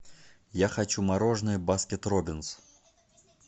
я хочу мороженое баскет робинс